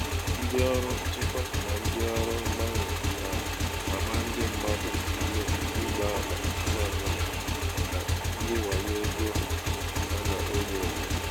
ndị ọrụ nchekwa na ndị ọrụ mgbanwe na-agba ndị mmadụ ume ịgba ama ngwa ngwa maka ndị wayo ego a ego a na-enyo enyo.